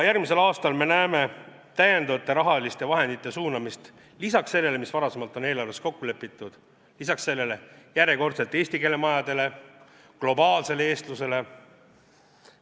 Järgmisel aastal näeme täiendavate rahaliste vahendite suunamist – lisaks sellele, mis varasemalt on eelarves kokku lepitud –, eesti keele majadele, globaalsele eestlusele.